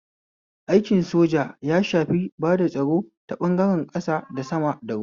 Aikin soja ya shafi bada tsaro ta ɓangaren ƙasa, da sama, da ruwa